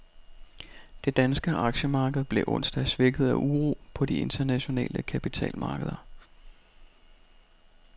Det danske aktiemarked blev onsdag svækket af uro på de internationale kapitalmarkeder.